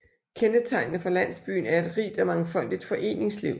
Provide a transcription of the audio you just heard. Kendetegnende for landsbyen er et rigt og mangfoldigt foreningsliv